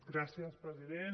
gràcies president